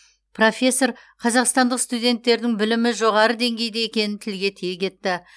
профессор қазақстандық студенттердің білімі жоғары деңгейде екенін тілге тиек етті